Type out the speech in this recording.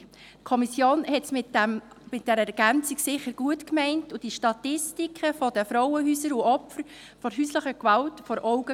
Die Kommission hat es mit dieser Ergänzung sicher gut gemeint und hatte die Statistiken der Frauenhäuser und Opfer von häuslicher Gewalt vor Augen.